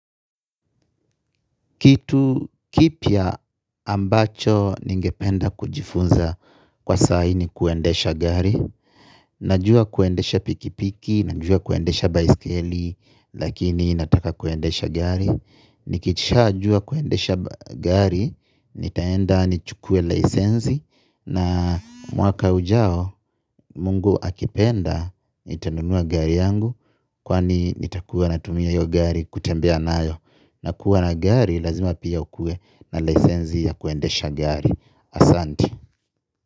Kitu kipya ambacho ningependa kujifunza kwa saa hii ni kuendesha gari. Najua kuendesha pikipiki, najua kuendesha baiskeli, lakini nataka kuendesha gari. Nikiisha jua kuendesha gari, nitaenda ni chukue licenzi. Na mwaka ujao, mungu akipenda, nitanunua gari yangu, kwani nitakuwa natumia hio gari kutembea nayo. Nakuwa na gari lazima pia ukuwe na licenzi ya kuendesha gari. Asante.